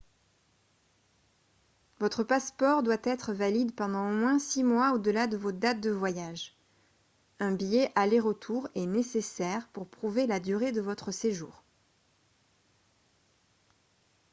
votre passeport doit être valide pendant au moins six mois au-delà de vos dates de voyage un billet aller-retour est nécessaire pour prouver la durée de votre séjour